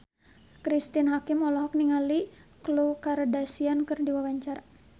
Cristine Hakim olohok ningali Khloe Kardashian keur diwawancara